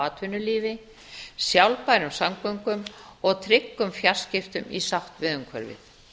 atvinnulífi sjálfbærum samgöngum og tryggum fjarskiptum í sátt við umhverfið